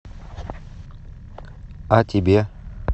а тебе